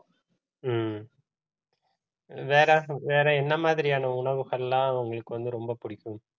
ஹம் வேற வேற என்ன மாதிரியான உணவுகள் எல்லாம் உங்களுக்கு வந்து ரொம்ப பிடிக்கும்